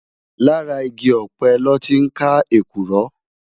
Làrá igi òpè lòtí n ká ékúrò